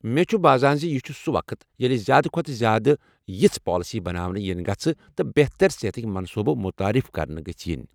مےٚ چھُ باسان ز یہ چھ سُہ وقت ییٚلہ زیادٕ کھوتہٕ زیادٕ یژھٕ پالیسی بناونہٕ ینہِ گژھہٕ تہٕ بہتر صحتکہِ منصوبہٕ متعارف کرنہٕ یِنۍ ۔